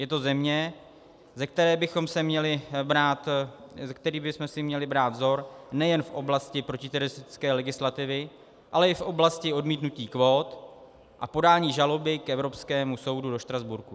Je to země, ze které bychom si měli brát vzor nejen v oblasti protiteroristické legislativy, ale i v oblasti odmítnutí kvót a podání žaloby k Evropskému soudu do Štrasburku.